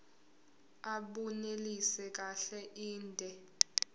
abunelisi kahle inde